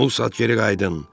Bu saat geri qayıdın.